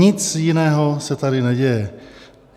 Nic jiného se tady neděje.